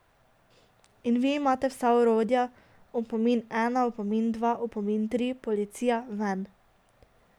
In vi imate vsa orodja, opomin ena, opomin dva, opomin tri, policija, ven.